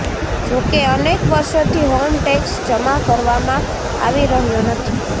જોકે અનેક વર્ષોથી હોમ ટેક્સ જમા કરવામાં આવી રહ્યો નથી